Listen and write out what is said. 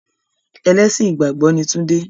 Ẹlẹ́sìn ìgbàgbọ́ ni tunde.